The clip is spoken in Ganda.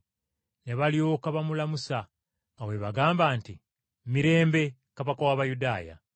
Ne balyoka bamulamusa nga bwe bagamba nti, “Mirembe! Kabaka w’Abayudaaya!”